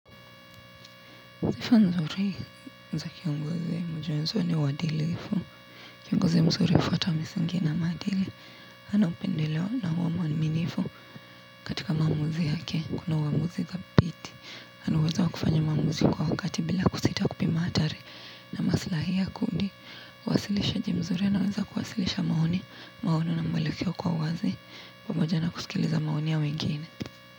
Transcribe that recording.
Sifa nzuri za kiongozi moja wenzo ni uadilifu. Ngozi mzuri hufuata misingi na maadili. Hana upendeleo na huwa mwaminifu. Katika maamuzi yake ako na uamuzi dhabiti ana uwezo wa kufanya maamuzi kwa wakati bila kusita kupima hatari na maslahi ya kundi uwasilishaji mzuri anaweza kuwasilisha maoni. Maono na mwelekeo kwa uwazi pamoja na kusikiliza maoni ya wengine.